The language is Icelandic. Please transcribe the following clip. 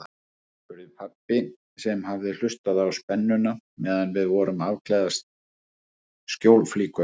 spurði pabbi sem hafði hlustað á sennuna meðan við vorum að afklæðast skjólflíkunum.